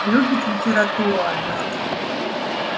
любит литературу однако